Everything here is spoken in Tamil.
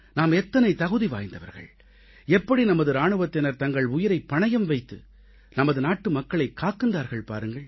நாம் எத்தனை தகுதி வாய்ந்தவர்கள் எப்படி நமது இராணுவத்தினர் தங்கள் உயிரைப் பணயம் வைத்து நமது நாட்டுமக்களை காக்கின்றார்கள் பாருங்கள்